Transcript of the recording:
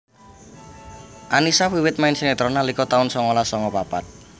Annisa wiwit main sinetron nalika taun songolas songo papat